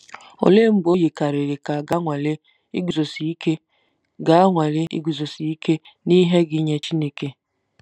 Olee mgbe o yikarịrị ka a ga-anwale iguzosi ike ga-anwale iguzosi ike n'ihe gị nye Chineke?